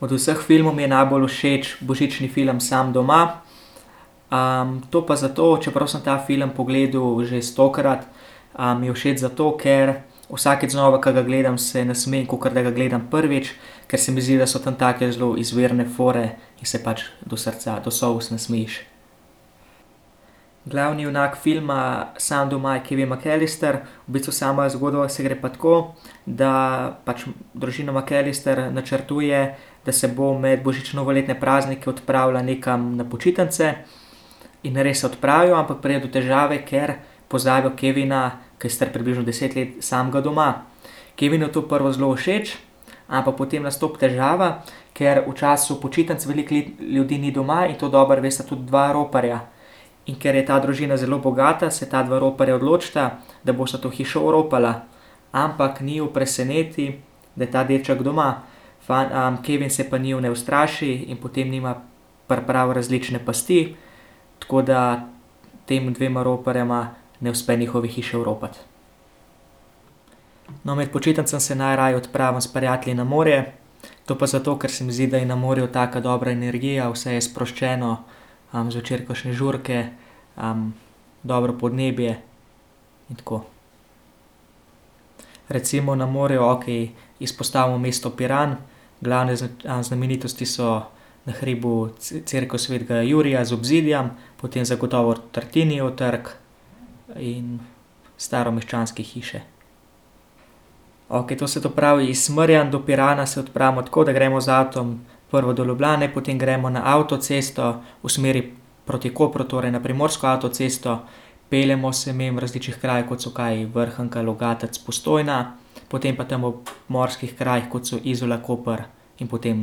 Od vseh filmov mi je najbolj božični film Sam doma. to pa zato, čeprav sem ta film pogledal že stokrat, mi je všeč zato, ker vsakič znova, ke ga gledam, se nasmejim, kakor da ga gledam prvič. Ker se mi zdi, da so tam take zelo izvirne fore in se pač do srca, do solz nasmejiš. Glavni junak filma Sam doma je Kevin McCallister, v bistvu sama zgodba se gre pa tako, da pač družina McCallister načrtuje, da se bo med božično-novoletne praznike odpravila nekam na počitnice in res se odpravijo, ampak pride do težave, ker pozabijo Kevina, ki je star približno deset let, samega doma. Kevinu je to prvo zelo všeč, ampak potem nastopi težava, ker v času počitnic veliko ljudi ni doma in to dobro vesta tudi dva roparja. In ker je ta družina zelo bogata, se ta dva roparja odločita, da bosta to hišo oropala. Ampak njiju preseneti, da je ta deček doma. Kevin se pa njiju ne ustraši in potem njima pripravi različne pasti, tako da tema dvema roparjema ne uspe njihove hiše oropati. No, med počitnicami se najraje odpravim s prijatelji na morje. To pa zato, ker se mi zdi, da je na morju taka dobra energija, vse je sproščeno, zvečer kakšne žurke, dobro podnebje in tako. Recimo na morju, okej, izpostavim mesto Piran, glavne znamenitosti so na hribu cerkev svetega Jurija z obzidjem, potem zagotovo Tartinijev trg in staromeščanske hiše. Okej, to se to pravi iz Smerja do Pirana se odpravimo tako, da gremo z avtom prvo do Ljubljane, potem gremo na avtocesto v smeri proti Kopru, torej na primorsko avtocesto, peljemo se mimo različnih krajev, kot so kaj, Vrhnika, Logatec, Postojna, potem pa tam ob morskih krajih, kot so Izola, Koper in potem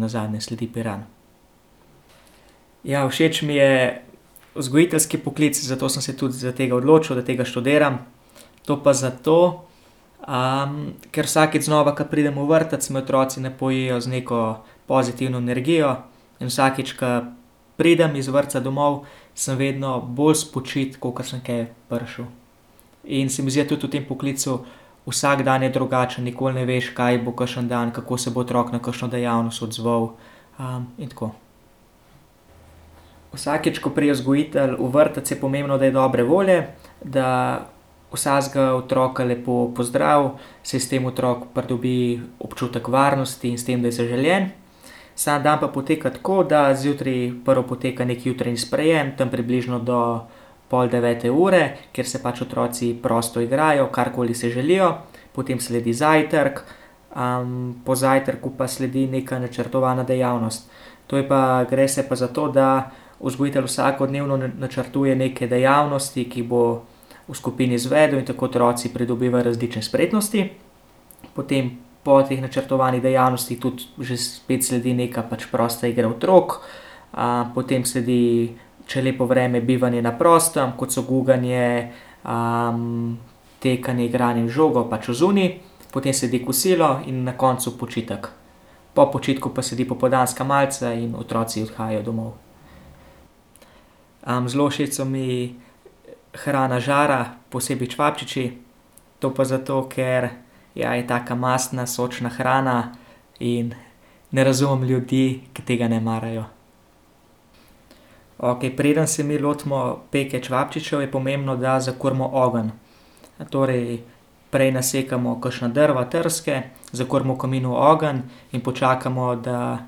nazadnje sledi Piran. Ja, všeč mi je vzgojiteljski poklic, zato sem se tudi za tega odločil, da tega študiram. To pa zato, ker vsakič znova, ko pridem v vrtec, me otroci napojijo z neko pozitivno energijo in vsakič, ko pridem iz vrtca domov, sem vedno bolj spočit, kakor sem tja prišel. In se mi zdi, da tudi v tem poklicu vsak dan je drugačen, nikoli ne veš, kaj bo kakšen dan, kako se bo otrok na kakšno dejavnost odzval. in tako. Vsakič, ko pride vzgojitelj v vrtec, je pomembno, da je dobre volje, da vsakega otroka lepo pozdravi, saj s tem otrok pridobi občutek varnosti in s tem, da je zaželen. Vsak dan pa poteka tako, da zjutraj prvo poteka neki jutranji sprejem tam približno do pol devete ure, ker se pač otroci prosto igrajo, karkoli se želijo. Potem sledi zajtrk, po zajtrku pa sledi neka načrtovana dejavnost. To je pa, gre se pa zato, da vzgojitelj vsakodnevno načrtuje neke dejavnosti, ki bo v skupini izvedel in tako otroci pridobivajo različne spretnosti. Potem po teh načrtovanih dejavnostih tudi že spet sledi neka pač prosta igra otrok, potem sledi, če je lepo vreme, bivanje na prostem, kot so guganje, tekanje, igranje z žogo, pač odzunaj. Potem sledi kosilo in na koncu počitek. Po počitku pa sledi popoldanska malica in otroci odhajajo domov. zelo všeč so mi hrana žara, posebej čevapčiči, to pa zato, ker, ja, je taka mastna sočna hrana in ne razumem ljudi, ki tega ne marajo. Okej, preden se mi lotimo peke čevapčičev, je pomembno, da zakurimo ogenj. Natorej prej nasekamo, kakšna drva, trske, zakurimo v kaminu ogenj in počakamo, da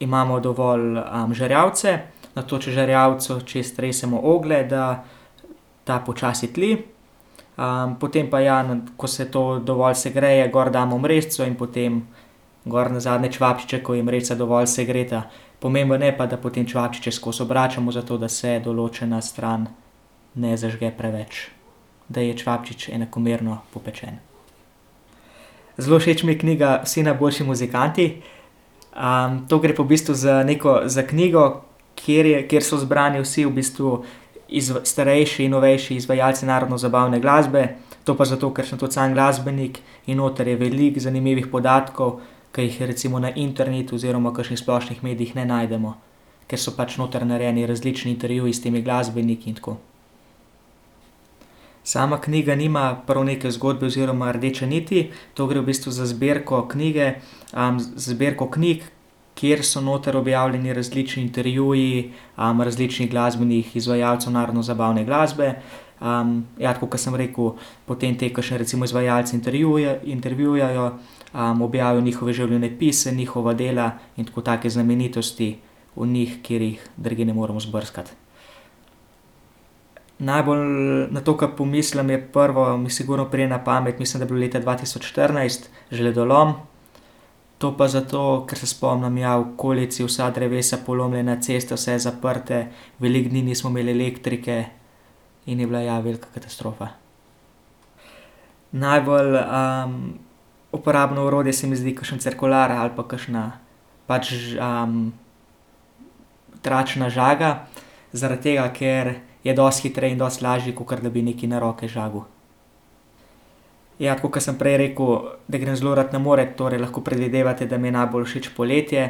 imamo dovolj, žerjavice, nato čez žerjavico čez stresemo oglje, da ta počasi tli, potem pa ja, ko se to dovolj segreje, gor damo mrežico in potem gor nazadnje čevapčiče, ko je mrežica dovolj segreta. Pomembno je pa, da potem čevapčiče skozi obračamo, zato da se določena stran ne zažge preveč. Da je čevapčič enakomerno popečen. Zelo všeč mi je knjiga Vsi najboljši muzikanti, to gre pa v bistvu za neko za knjigo, kjer je, kjer so zbrani vsi v bistvu starejši in novejši izvajalci narodno-zabavne glasbe, to pa zato, ker sem tudi sam glasbenik in noter je veliko zanimivih podatkov, ke jih je recimo na internetu oziroma kakšnih splošnih medijih ne najdemo. Ker so pač noter narejeni različni intervjuji s temi glasbeniki in tako. Sama knjiga nima prav neke zgodbe oziroma rdeče niti. To gre v bistvu za zbirko knjige, zbirko knjig, kjer so noter objavljeni različni intervjuji, različnih glasbenih izvajalcev narodno-zabavne glasbe. ja, tako, kot sem rekel, potem te kakšne recimo izvajalce intervjuvajo, objavijo njihove življenjepise, njihova dela in tako take znamenitosti o njih, kjer jih drugje ne moremo izbrskati. Najbolj na to, ke pomislim, je prvo sigurno pride na pamet mislim, da je bilo leta dva tisoč štirinajst, žledolom. To pa zato, ker se spomnim, ja, v okolici vsa drevesa polomljena, ceste vse zaprte, veliko dni nismo imeli elektrike in je bila, ja, velika katastrofa. Najbolj, uporabno orodje se mi zdi kakšen cirkular ali pa kakšna pač tračna žaga. Zaradi tega, ker je dosti hitreje in dosti lažje, kakor da bi nekaj na roke žagal. Ja, tako kot sem prej rekel, da grem zelo rad na morje, torej lahko predvidevate, da mi je najbolj všeč poletje,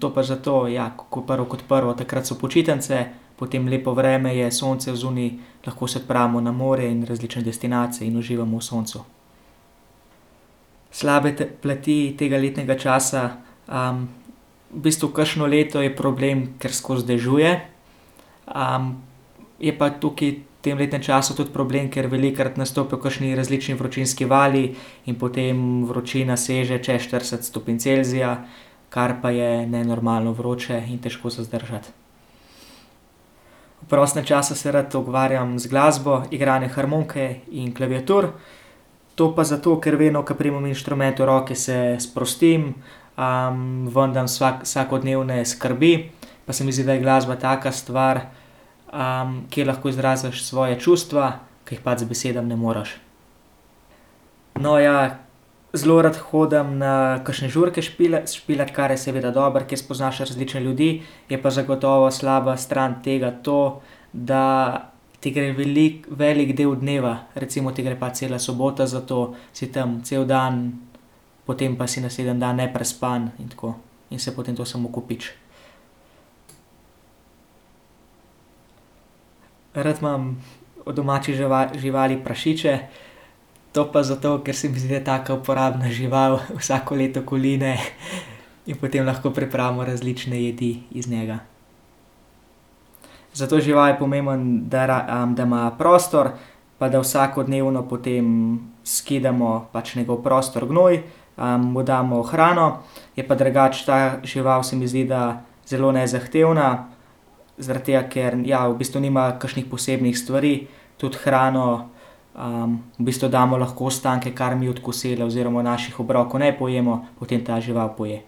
to pa zato, ja, ko prvo kot prvo takrat so počitnice, potem lepo vreme je, sonce odzunaj. Lahko se odpravimo na morje in različne destinacije in uživamo v soncu. Slabe plati tega letnega časa, v bistvu kakšno leto je problem, ker skozi dežuje, je pa tukaj v tem letnem času tudi problem, ker velikokrat nastopijo kakšni različni vročinski vali in potem vročina seže čez štirideset stopinj Celzija, kar pa je nenormalno vroče in težko za zdržati. V prostem času se rad ukvarjam z glasbo, igranje harmonike in klaviatur. To pa zato, ker vedno, ko primem inštrument v roke, se sprostim, ven dam vsakodnevne skrbi pa se mi zdi, da je glasba taka stvar, kjer lahko izražaš svoja čustva, ker jih pač z besedami ne moreš. No, ja zelo rad hodim na kakšne žurke špilat, kar je seveda dobro, ker spoznaš različne ljudi, je pa zagotovo slaba stran tega to, da ti gre velik, velik del dneva, recimo ti gre pač cela sobota za to, si tam cel dan. Potem pa si naslednji dan neprespan in tako. In se potem to samo kopiči. Rad imam od domačih živali prašiče, to pa zato, ker se mi zdi taka uporabna žival, vsako leto koline, in potem lahko pripravimo različne jedi iz njega. Za to žival je pomembno, da da ima prostor pa da vsakodnevno potem skidamo pač njegov prostor, gnoj, mu damo hrano, je pa drugače ta žival, se mi zdi, da zelo nezahtevna, zaradi tega, ker, ja, v bistvu nima kakšnih posebnih stvari, tudi hrano, v bistvu damo lahko ostanke, kar mi od kosila oziroma od naših obrokov ne pojemo, potem ta žival poje.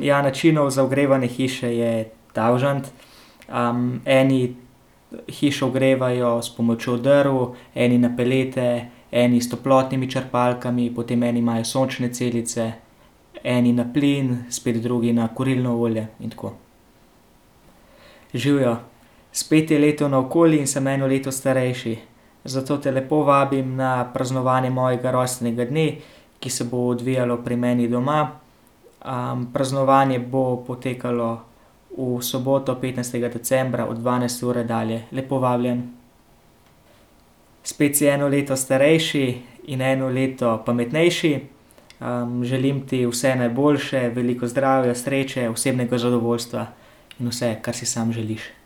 ja načinov za ogrevanje hiše je tavžent. eni hišo ogrevajo s pomočjo drv, eni na pelete, eni s toplotnimi črpalkami, potem eni imajo sončne celice, eni na plin, spet drugi na kurilno olje in tako. Živjo, spet je leto naokoli in sem eno leto starejši. Zato te lepo vabim na praznovanje mojega rojstnega dne, ki se bo odvijalo pri meni doma. praznovanje bo potekalo v soboto petnajstega decembra od dvanajste ure dalje. Lepo vabljen. Spet si eno leto starejši in eno leto pametnejši. želim ti vse najboljše, veliko zdravja, sreče, osebnega zadovoljstva in vse, kar si samo želiš.